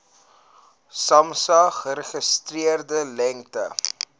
samsa geregistreerde lengte